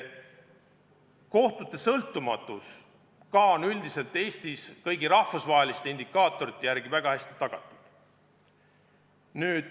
Kohtute sõltumatus on üldiselt Eestis kõigi rahvusvaheliste indikaatorite järgi samuti väga hästi tagatud.